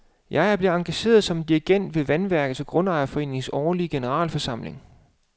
Jeg er blevet engageret som dirigent ved vandværkets og grundejerforeningens årlige generalforsamling.